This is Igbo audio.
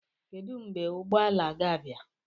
Kedu mgbe ụgbọ ala ga-abịa?